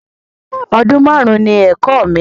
Ọdún máàrún ni ẹ̀kọ́ mi